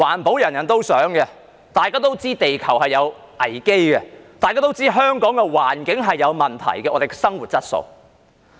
所有人也想環保，大家也知道地球有危機，大家也知道香港的環境有問題，這關乎我們的生活質素。